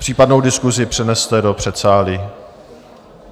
Případnou diskusi přeneste do předsálí.